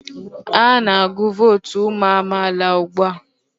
Ha na-agụ vootu ụmụ amaala ugbu a.